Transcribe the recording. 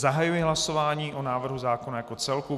Zahajuji hlasování o návrhu zákona jako celku.